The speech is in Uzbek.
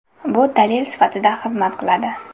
Bu dalil sifatida xizmat qiladi.